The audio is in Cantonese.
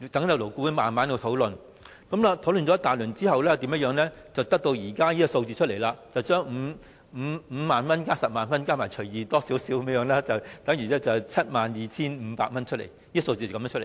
勞顧會慢慢討論，經過一番討論後，才得出現時稍為增加了的金額，將5萬元加10萬元除以 2， 等於 72,500 元，這個數目就是這樣計算出來的。